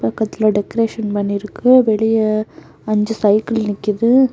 பக்கத்துல டெக்ரேஷன் பண்ணிருக்கு. வெளிய அஞ்சு சைக்கிள் நிக்குது.